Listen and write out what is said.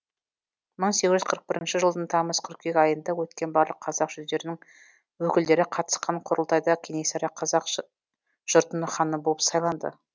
мың сегіз жүз қырық бірінші жылдың тамыз қыркүйек айында өткен барлық қазақ жүздерінің өкілдері қатысқан құрылтайда кенесары қазақ жұртының ханы болып сайланды